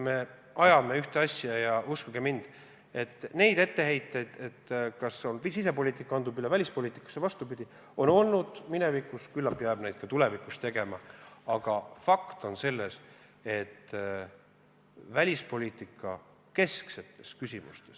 Me ajame ühte asja ja uskuge mind, neid etteheiteid, kas sisepoliitika on kandunud välispoliitikasse või vastupidi, on olnud ka minevikus ja küllap tuleb neid tulevikuski, aga fakt on see, et välispoliitika kesksetes küsimustes ...